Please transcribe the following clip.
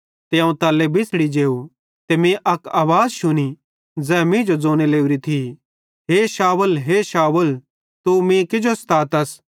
ते अवं तल्ले बिछ़ड़ी जेव ते मीं अक आवाज़ शुनी ज़ै मींजो ज़ोने लोरी थी हे शाऊल हे शाऊल तू मीं किजो स्तातस